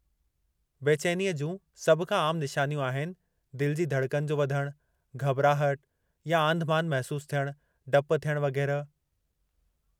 बेचैनीअ जूं सभ खां आम निशानियूं आहिनि, दिलि जी धड़कन जो वधणु, घॿिराहट या आंधिमांधि महसूसु थियणु, डपु थियणु वगै़रह।